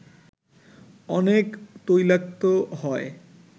অনেক তৈলাক্ত হয়